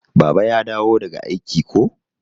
Baba ya dawo daga aiki ko?